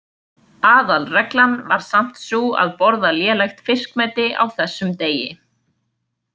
Aðalreglan var samt sú að borða lélegt fiskmeti á þessum degi.